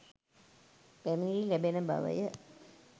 පැමිණිලි ලැබෙන බවය.